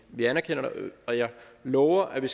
vi anerkender det og jeg lover at vi